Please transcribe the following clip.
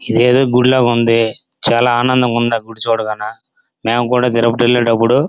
ఏదోదో గుడి లాగా ఉంది. చాలా ఆనందంగా ఉంది. ఆ గుడి చూడగానే మేము కూడా తిరుపతి ఏలేటపుడు--